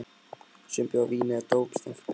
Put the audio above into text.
Sumir bjóða vín eða dóp í staðinn fyrir peninga.